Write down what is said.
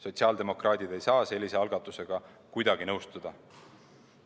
Sotsiaaldemokraadid ei saa sellise algatusega kuidagi nõustuda.